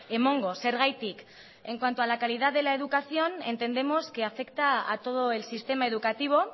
emango zergatik en cuanto a la calidad de la educación entendemos que afecta a todo el sistema educativo